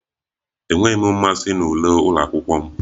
Enweghị m mmasị na uwe ụlọ akwụkwọ m